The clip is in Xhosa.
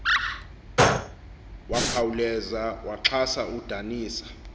wakhawuleza waxhasa udanisa